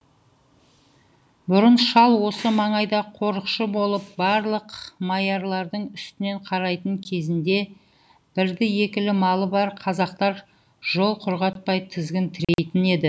бұрын шал осы маңайда қорықшы болып барлық маялардың үстінен қарайтын кезінде бірді екілі малы бар қазақтар жол құрғатпай тізгін тірейтін еді